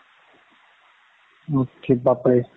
okay, বাপৰে